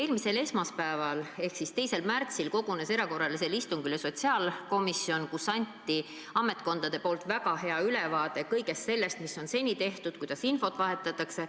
Eelmisel esmaspäeval ehk 2. märtsil kogunes sotsiaalkomisjon erakorralisele istungile, kus ametkonnad andsid väga hea ülevaate kõigest sellest, mis on seni tehtud, kuidas infot vahetatakse.